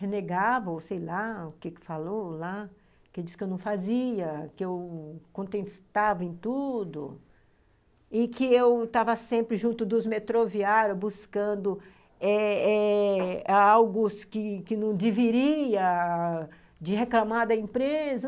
Renegava, ou sei lá o que falou lá, que diz que eu não fazia, que eu contestava em tudo e que eu estava sempre junto dos metroviários buscando eh eh algo que não deveria, de reclamar da empresa.